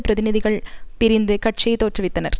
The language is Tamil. பிரதிநிதிகள் பிரிந்து கட்சியை தோற்றுவித்தனர்